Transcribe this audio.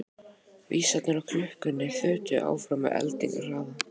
Vísarnir á klukkunni þutu áfram með eldingarhraða.